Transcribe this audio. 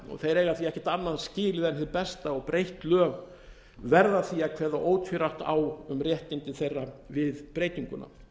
eiga því ekkert annað skilið en hið besta og breytt lög verða því að kveða ótvírætt á um réttindi þeirra við breytinguna